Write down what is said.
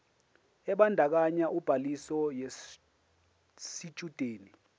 ebandakanya ubhaliso yesitshudeni